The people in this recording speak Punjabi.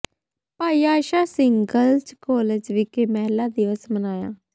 ਭਾਈ ਆਸਾ ਸਿੰਘ ਗਰਲਜ਼ ਕਾਲਜ ਵਿਖੇ ਮਹਿਲਾ ਦਿਵਸ ਮਨਾਇਆ